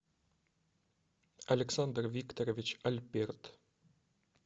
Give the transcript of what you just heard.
александр викторович альберт